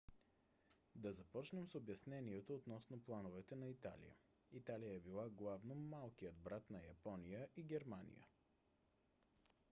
да започнем с обяснението относно плановете на италия. италия е била главно малкият брат на япония и германия